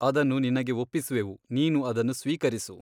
ಅದನ್ನು ನಿನಗೆ ಒಪ್ಪಿಸುವೆವು ನೀನು ಅದನ್ನು ಸ್ವೀಕರಿಸು.